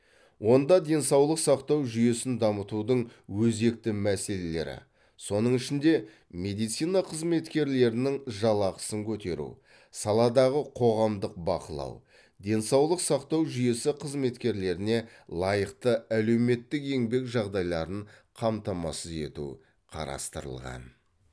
онда денсаулық сақтау жүйесін дамытудың өзекті мәселелері соның ішінде медицина қызметкерлерінің жалақысын көтеру саладағы қоғамдық бақылау денсаулық сақтау жүйесі қызметкерлеріне лайықты әлеуметтік еңбек жағдайларын қамтамасыз ету қарастырылған